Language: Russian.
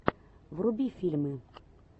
вруби фильмы